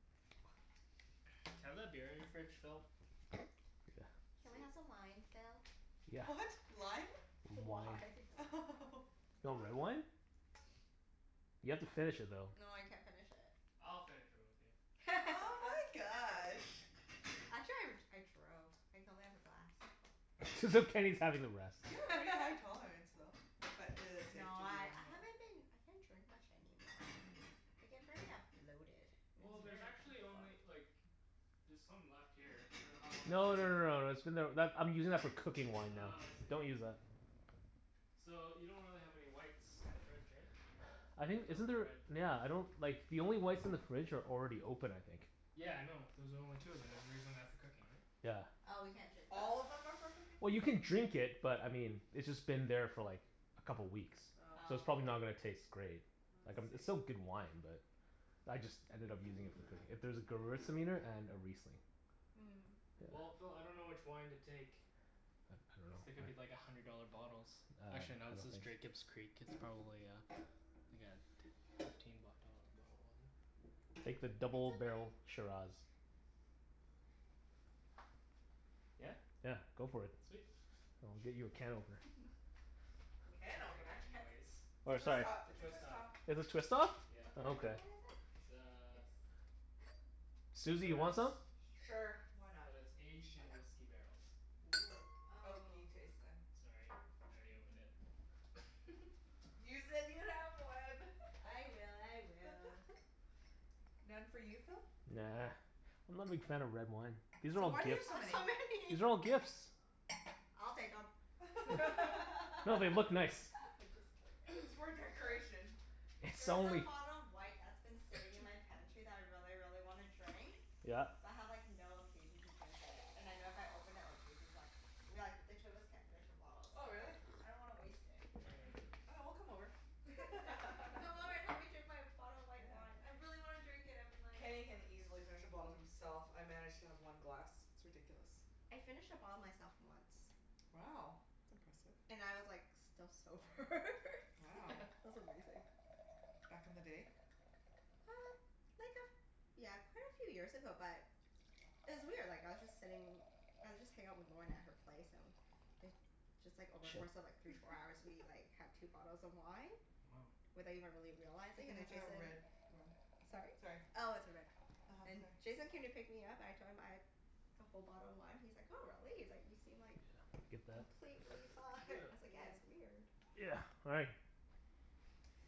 Can I have that beer in your fridge, Phil? Yeah. Can we Sweet. have some wine, Phil? Yeah. What? Lime? Wine. Wine. Do you want red wine? You have to finish it though. No, I can't finish it. I'll finish it with you. Oh my gosh. Actually I r- I drove. I can only have a glass. As if Kenny's having the rest. You have a pretty high tolerance, though. But it is safe No, to do I one I haven't been I can't drink much anymore. Mm. I get very a bloated, and Well, it's Mm. there's very actually uncomfortable. only like there's some left here. I dunno how long it's No been no no here. no, that's been there, that, I'm using that for cooking wine now. Oh, I see. Don't use that. So, you don't really have any whites in the fridge, right? I You'd think, have to isn't open a there, red. nyeah, I don't like the only whites in the fridge are already open I think. Yeah, I know, those are the only two of them and you're using that for cooking, right? Yeah. Oh, we can't drink those? All of them are for cooking? Well you can drink it, but I mean it's just been there for like a couple weeks Oh. so it's probably Oh. not gonna taste great. Oh Like um I it's still see. good wine but I just ended up using it for cooking. If there's a gewürztraminer and a riesling. Hmm. Well, Yeah. Phil, I dunno which wine to take. Cuz Uh they I could be like a dunno hundred dollar bottles. Uh Actually I no, don't this is think s- Jacob's Creek. It's probably uh like a t- fifteen b- dollar bottle of wine? Take the It's double okay. barrel Shiraz. Yeah? Yeah, go for it. Sweet. I'll get you a can opener. Phil Can doesn't drink A opener? it can op- anyways. It's a Or twist sorry top. It's a Twist twist top. top. Is this twist off? Yeah. What Then kinda okay. wine is it? It's a Ex- Susie, you want shiraz. some? Sure. Why Shiraz. not? But it's aged in whisky barrels. Woo. Oh. Oaky taste, then. Sorry, I already opened it. You said you have one. I will. I will. None for you, Phil? Nah. I'm not a big fan of red wine. These are So all why do you have gifts. so many? So many. These are all gifts. I'll take 'em. I'm No, they look just nice. kidding. It's for decoration. There It's is a only bottle of white that's been sitting in my pantry that I really, really wanna drink. Yeah. But I have like no occasion to drink it. And I know if I open it, like Jason's like we like, but the two of us can't finish a bottle so Oh, really? like I don't wanna waste it. Mm. Mmm. Okay, we'll come over. Yeah. Come over and help me drink my bottle of white wine. Yeah. I really wanna drink it. I've been like, Kenny can oh easily finish a bottle himself. I manage to have one glass. It's ridiculous. I finished a bottle myself, once. Wow. That's impressive. And I was like still sober Wow. It was amazing. Back in the day? Uh, like a f- yeah, quite a few years ago but it was weird. Like, I was just sitting I was just hangin' out with Lorna at her place, and it just like, over course of like three, four hours we like had two bottles of wine Woah. without even really Good realizing, thing and then it's a Jason red rug. Mhm. Sorry? Sorry. Oh, it's a red. uh-huh. And Sorry. Jason came to pick me up. I told him, I'd a whole bottle of wine, he's like, "Oh, really?" He's like "You seem Yeah, like I get that. completely fine." I was like, "Yeah, Yeah. it's weird." Yeah, all right.